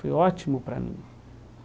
Foi ótimo para mim.